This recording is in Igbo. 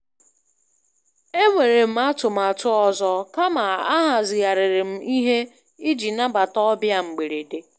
E nwere m atụmatụ ọzọ, kama ahazigharịrị m ihe iji nabata ọbịa mgberede.